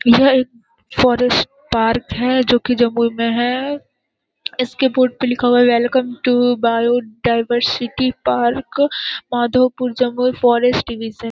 यह एक forest park है जो कि जमुई में है इसके बोर्ड पे लिखा हुआ है welcome to biodiversity park Madhavpur Jamui forest division.